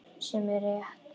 Sem er rétt.